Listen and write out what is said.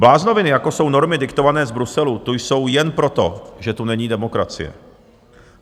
Bláznoviny, jako jsou normy diktované z Bruselu, tu jsou jen proto, že tu není demokracie.